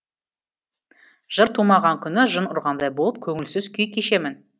жыр тумаған күні жын ұрғандай болып көңілсіз күй кешемін